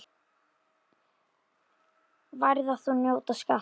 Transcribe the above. Værðar þú njóta skalt.